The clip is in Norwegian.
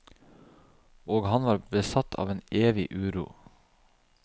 Og han var besatt av en evig uro.